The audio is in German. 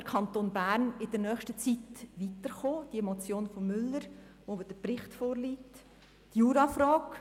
Wie könnte der Kanton Bern in nächster Zeit weiterkommen?», zu der der Bericht vorliegt, die Jurafrage.